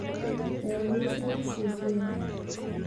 eyamishe erisioti ai